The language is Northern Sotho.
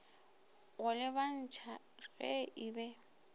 go lebantšha ge e be